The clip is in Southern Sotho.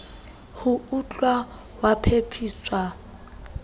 ho o tl waetsa phaphusi